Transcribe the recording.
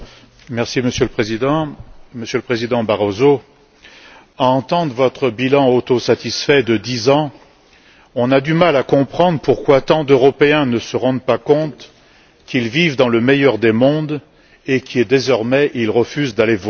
Monsieur le Président, Monsieur le Président Barroso, à vous entendre vous satisfaire de votre bilan de dix ans, on a du mal à comprendre pourquoi tant d'Européens ne se rendent pas compte qu'ils vivent dans le meilleur des mondes et pourquoi, désormais, ils refusent d'aller voter.